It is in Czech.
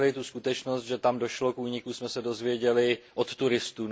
skutečnost, že tam došlo k úniku, dozvěděli od turistů.